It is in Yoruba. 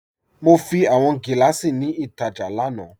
Mo fi awọn giláṣí ni ítajà lánà.